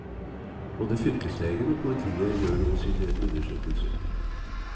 Både fylkeslegen og politiet gjør nå sine undersøkelser.